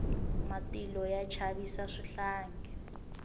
matilo ya chavisa swihlangi